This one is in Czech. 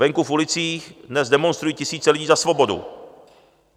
Venku v ulicích dnes demonstrují tisíce lidí za svobodu.